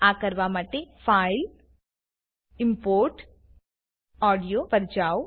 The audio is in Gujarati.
આ કરવા માટે ફાઇલ ઇમ્પોર્ટ ઓડિયો પર જાવ